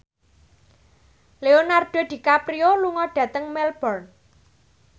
Leonardo DiCaprio lunga dhateng Melbourne